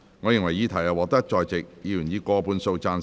我認為議題獲得在席議員以過半數贊成。